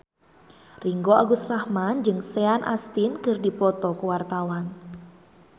Ringgo Agus Rahman jeung Sean Astin keur dipoto ku wartawan